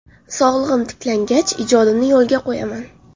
Sog‘ligim tiklangach, ijodimni yo‘lga qo‘yaman.